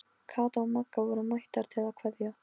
Kata og Magga voru mættar til að kveðja.